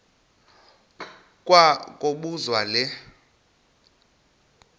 kwa kobuzwa le